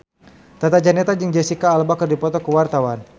Tata Janeta jeung Jesicca Alba keur dipoto ku wartawan